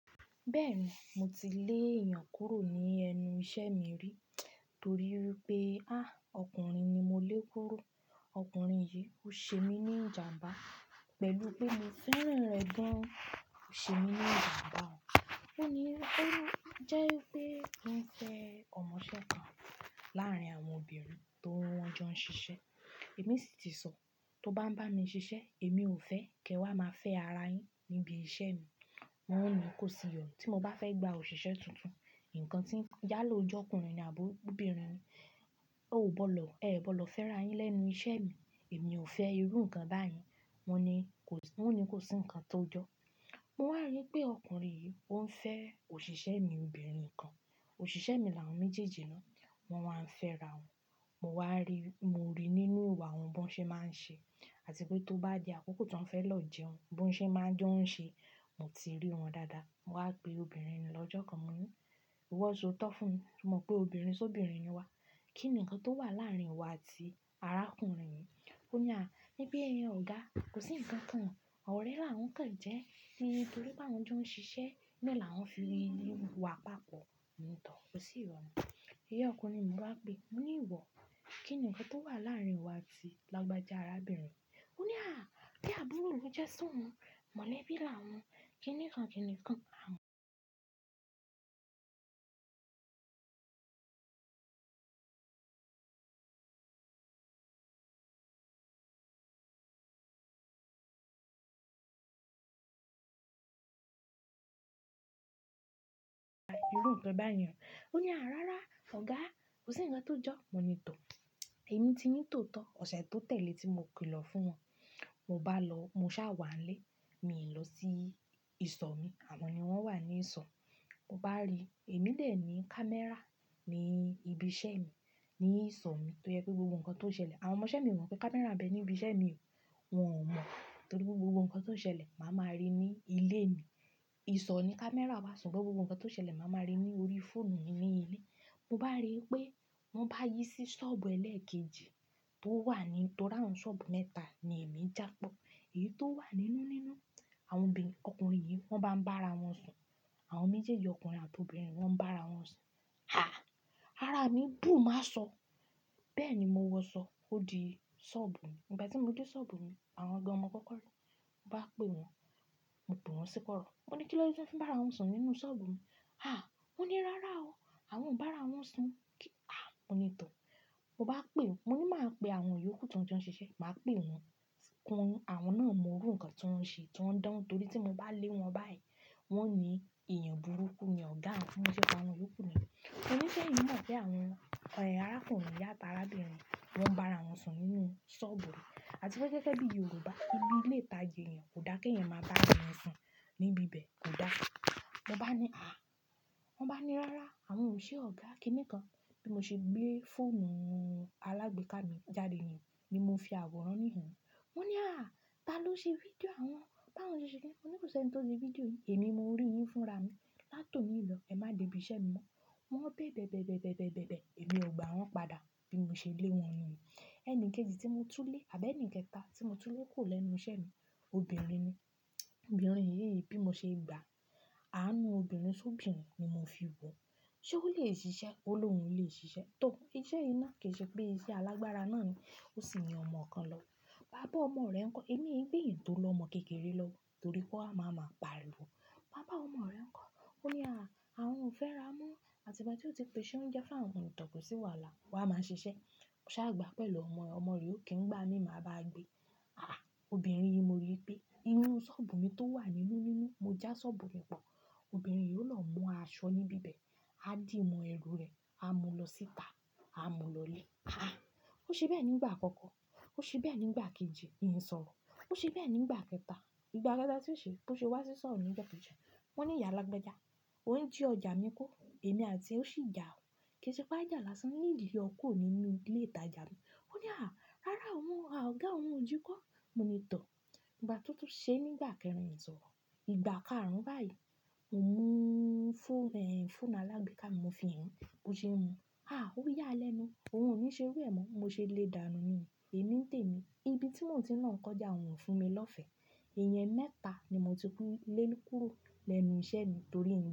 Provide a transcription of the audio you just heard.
Bẹ́ẹ̀ni, mo ti lé èèyàn kúrò ní ẹnu iṣẹ́ mi rí torí pé, "a, ọkùnrin ni mo lé kúrò. Ọkùnrin yìí ó ṣe mí ní ìjàmbá pẹ̀lú pé mo fẹ́ràn rẹ̀ gan, ó ṣe mí ní ìjàmbá o." Ó ní, "ẹ́rò jẹ́ pé kí ń fẹ́ ọmọṣẹ́ kan láàrín àwọn obìnrin tó wọ́n jọ ń ṣiṣẹ́." Èmi sì ti sọ, "tó bá ń bá mi ṣiṣẹ́, èmi ò fẹ́ kí ẹ wá máa fẹ́ ara yín níbi iṣẹ́ mi." Wọ́n ni kò sí ìrònú. Tí mo bá fẹ́ gba òṣìṣẹ́ tuntun, ǹkan tí ń yá ló jọ́kùnrin ààbò obìnrin ni, ó ò gbọ́dọ̀, ẹ gbọ́dọ̀ fẹ́ra yín lẹ́nu iṣẹ́ mi. Èmi ò fẹ́ irú ǹkan báyìí. Wọ́n ni kò sí ǹkan tó jọ. Mo wá rí pé ọkùnrin yìí ó ń fẹ́ òṣìṣẹ́ mi obìnrin kan. Òṣìṣẹ́ mi làwọn méjèèjì náà, wọ́n máa ń fẹ́ra wọn. Mo wá rí, mo rí nínú ìwà wọn bó ṣe máa ń ṣe àti pé tó bá di àkókò tó ń fẹ́ lò jẹun, bó ṣe máa ń jo ṣe. Mo ti rí wọn dáadáa. Mo wá pè obìnrin náà lọ́jọ́ kan, mo ní, "ìwọ sóòótọ́ fún mi, mo mọ̀ pé obìnrin sóbinrin ni wá, kí ni ǹkan tó wà láàrín wa àti arákùnrin yìí?" Ó ní, "à, ní bí èèyàn òògá, kò sí ǹkan kan. Ọ̀rẹ́ làwọn kàn jẹ́ ní torí pé àwọn jọ ń ṣiṣẹ́, bẹ́ẹ̀ làwọn fi rí inú wa papọ̀." Mo ní, "tọ́, kò sí ìyònú." Ìyà ọkùnrin mo wá pè, mo ní, "ìwọ, kí ni ǹkan tó wà láàrín ìwọ àti lágbàjá arábìnrin?" Ó ní, "à, bí àbúrò ni ó jẹ́ si oun, mólèbí làwọn, kí ni ǹkan kí ni kí a mú." "Irú ǹkan báyìí o." Ó ní, "à, rárá, ọ̀gá, kò sí ǹkan tó jọ." Mo ní, "tọ́, èmi ti ní tòótọ́ ọ̀sẹ̀ tó tẹ̀lé tí mo kí lọ fún wọn. Mo bá lọ, mo sá wà lé, mi lọ sí ìsọ̀ mi, àmọ́ ni wọ́n wà ní ìsọ̀. Mo bá rí, èmi lè ní camera ní ibi iṣẹ́ mi ní ìsọ̀ mi tó yẹ pé gbogbo ǹkan tó ń ṣẹlẹ̀, àwọn ọmọṣẹ́ mi wò pé camera bẹ ní ibi iṣẹ́ mi o. Wọn ò mọ̀ torí pé gbogbo ǹkan tó ń ṣẹlẹ̀ màá máa rí ní ilé mi. Ìsọ̀ ni camera wa sùgbọ́n gbogbo ǹkan tó ń ṣẹlẹ̀ màá máa rí ní orí fóònù mi ní ilé. Mo bá rí pé wọ́n bá yí sí ṣọ́ọ̀bù ẹlẹ́ẹ̀kejì tó wà nítorí àwọn ṣọ́ọ̀bù mẹ́ta ni èmi já pọ̀. Èyí tó wà nínú nínú, àwọn obìnrin ọkùnrin yìí wọ́n bá ń bá ara wọn sùn. Àwọn méjèèjì ọkùnrin àti obìnrin wọ́n ń bá ara wọn sùn. A, ara mi dùn má sọ. Bẹ́ẹ̀ ni mo wọ sọ, ó di ṣọ́ọ̀bù mi. Ìgbà tí mo dé ṣọ́ọ̀bù mi, àwọn gán mọ kọ́kọ́rí, mo bá pè wọ́n, mo pè wọ́n sípọ́ ọ̀rọ̀. Mo ní kí ló jẹ́ wọ́n fi ń bá ara wọn sùn nínú ṣọ́ọ̀bù mi? A, wọ́n ní, "rárá o, àwọn ń bá ara wọn sùn." A, mo ní, "tọ́, mo bá pè wọ́n." Mo ní màá pè àwọn yòókù tí wọ́n jọ ń ṣiṣẹ́, màá pè wọ́n. Wọn, àwọn náà mọ irú ǹkan tí wọ́n ń ṣe tí wọ́n dán torí tí mo bá lé wọ́n báyìí, wọ́n ní èèyàn burúkú ni ọ̀gá wọn, bí mọ́ ṣé pè àwọn yòókù nìyẹn. Wọ́n ní ṣé èyin mọ̀ pé àwọn, ẹ̀, arákùnrin yàtọ̀ arábìnrin, wọ́n ń bá ara wọn sùn nínú ṣọ́ọ̀bù mí. Àti pé gẹ́gẹ́ bí Yorùbá, ibi ilé ìtajà èèyàn kò dá kí ẹ̀yàn máa bá ara wọn sùn níbi ibẹ̀, kò dá. Mo bá ní, "a." Wọ́n bá ní, "rárá, àwọn ò ṣe ọ̀gá kíni kan." Bí mo ṣe gbé fóònù alágbèéká mi jáde nìyẹn ni mo fi àwòrán níhìn-ín. Wọ́n ní, "a, ta ló ṣe fídíò àwọn báwọn ṣiṣẹ́ ni?" Mo ní, "òṣè tí ó ṣe fídíò yìí, èmi mo rí yín fúnra mi. Látò ní ìlọ̀, ẹ má dẹ ibi iṣẹ́ mi mọ́." Wọ́n bẹ̀bẹ̀bẹ̀bẹ̀bẹ̀bẹ̀bẹ̀bẹ̀, èmi ò gba wọ́n padà bí mo ṣe lé wọ́n nìyẹn. Ẹni kejì tí mo tú lé àbẹ́ ẹnì kẹta tí mo tú lé kùro lẹ́nu iṣẹ́ mi, obìnrin ni. Obìnrin yìí bí mo ṣe gbà, àánú obìnrin sóbinrin ni mo fi wò. Ṣé ó lè ṣiṣẹ́? Ó lohùn, ó lè ṣiṣẹ́. Tọ́, iṣẹ́ yìí náà kì í ṣe pé iṣẹ́ alágbára náà ni, ó sì ni ọmọ kan lọ. “Bá bọ́ ọmọ rẹ̀ ńkọ́, èmi ń gbé tó lọ́ ọmọ kékeré lọ́wọ́, torí kò á máa máa pàrí wo.” "Bá bọ ọmọ rẹ ńkọ́." Ó ní, "a, àwọn ò fẹ́ra mó." Àti ìbà tí ó ti pè ṣé oúnjẹ fún àwọn kan kò sí wà là, wàá máa ṣiṣẹ́. Ṣá gbà pẹ̀lú ọmọ rẹ, ọmọ rẹ ó kí ń gbá mi má bá gbé. A, obìnrin yìí mo rí pé inú ṣọ́ọ̀bù mi tó wà nínú nínú, mo já ṣọ́ọ̀bù rẹ̀ bọ̀. Obìnrin yìí ó lọ mú aṣọ níbí bẹ̀, á dì mò ẹrù rẹ̀, á mú lọ síta, á mú lọlé. A, ó ṣe bẹ́ẹ̀ nígbà àkọ́kọ́, ó ṣe bẹ́ẹ̀ nígbà kejì, mi sọ̀rọ̀. Ó ṣe bẹ́ẹ̀ nígbà kẹta. Ìgbà kẹta tí ó ṣe, bó ṣe wá sí ṣọ́ọ̀bù ní jọ́ kejì. Wọ́n ní ìyà lágbẹ́jà, ó ń jí ọjà mi kọ́, èmi àti re ó sì jà o. Kì í ṣe pé a jà lásán, nìlẹ̀ ó kúrò nínú ilé ìtajà mi. Ó ní, "a, rárá o mú, a, ọ̀gá, òun ò jí kó." Mo ní, "tọ́." Ìgbà tó tó ṣe nígbà kẹrin ìyẹn sọ̀rọ̀. Ìgbà kárùn-ún báyìí, mo mú fón, ẹ̀, fóònù alágbèéká mi mo fi hàn án, bó ṣe ń mu. A, ó yá a lẹ́nu. Òun ò ní ṣe rú ẹ mọ́. Mo ṣe lé dààní nìyẹn. Èmi ń tèmi. Ibi tí mò ń tí náà kọjá òun fún mi lọ́fẹ̀ẹ́. Ìyẹn mẹ́ta ni mò ti kú lẹ́nu kúrò lẹ́nu iṣẹ́ mi torí ǹ.